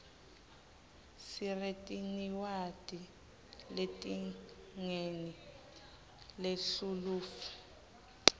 siretiniwadi letingeni lethluluif